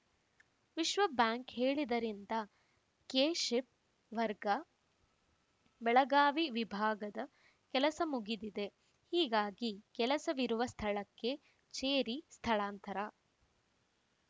ವಿಶ್ವಬ್ಯಾಂಕ್‌ ಹೇಳಿದ್ದರಿಂದ ಕೆಶಿಪ್‌ ವರ್ಗ ಬೆಳಗಾವಿ ವಿಭಾಗದ ಕೆಲಸ ಮುಗಿದಿದೆ ಹೀಗಾಗಿ ಕೆಲಸವಿರುವ ಸ್ಥಳಕ್ಕೆ ಚೇರಿ ಸ್ಥಳಾಂತರ